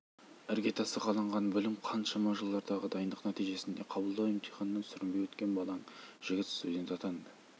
іргетасы қаланған білім қаншама жылдардағы дайындық нәтижесінде қабылдау емтиханынан сүрінбей өткен балаң жігіт студент атанды